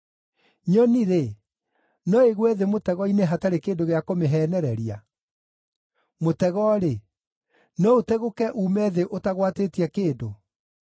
Nyoni-rĩ, no ĩgwe thĩ mũtego-inĩ hatarĩ kĩndũ gĩa kũmĩheenereria? Mũtego-rĩ, no ũtegũke, uume thĩ ũtagwatĩtie kĩndũ?